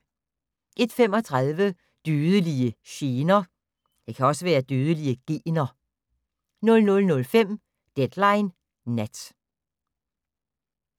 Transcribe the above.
01:35: Dødelige gener 02:05: Deadline Nat